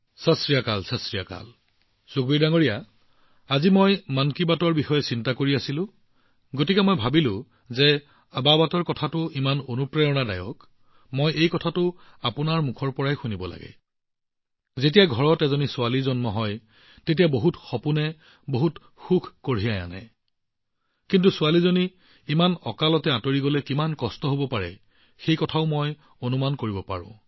ছত শ্ৰী আকালজী ছত শ্ৰী আকালজী সুখবীৰজী যেতিয়া মই আজি মন কী বাতৰ বিষয়ে চিন্তা কৰি আছিলো মই অনুভৱ কৰিছিলো যে যিহেতু আবাবাত সম্পৰ্কীয় বিষয়টো ইমান অনুপ্ৰেৰণাদায়ক মই আপোনাৰ পৰা পোনপটীয়াকৈ শুনিব বিচাৰোঁ কিয়নো যেতিয়া ঘৰত এজনী ছোৱালীৰ জন্ম হয় তাই বহুতো সপোন আৰু বহুতো আনন্দ কঢ়িয়াই আনে কিন্তু মই এইটোও কল্পনা কৰিব পাৰোঁ যে যদি ছোৱালীজনী ইমান সোনকালে গুচি যায় তেন্তে সেই বেদনা কিমান তীব্ৰ হব